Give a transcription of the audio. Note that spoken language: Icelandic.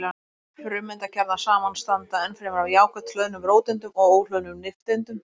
Frumeindakjarnar samanstanda ennfremur af jákvætt hlöðnum róteindum og óhlöðnum nifteindum.